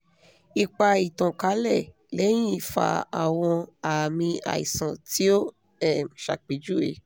ipa itankalẹ lẹhin fa awọn aami aisan ti o um ṣapejuwe